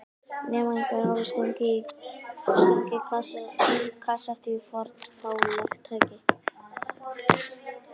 Nema einhver hafi stungið kasettu í fornfálegt tækið.